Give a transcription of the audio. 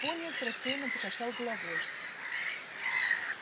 пониетс рассеянно покачал головой